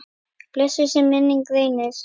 Blessuð sé minning Reynis.